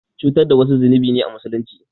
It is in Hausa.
Cutar da wasu zunubi ne a Musulunci.